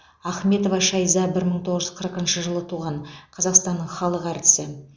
ахметова шайза бір мың тоғыз жүз қырық сегізінші жылы туған қазақстанның халық әртісі